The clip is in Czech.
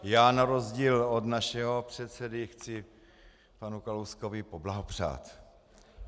Já na rozdíl od našeho předsedy chci panu Kalouskovi poblahopřát.